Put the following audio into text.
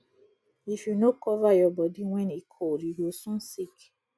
if you no cover your body when e cold you go soon sick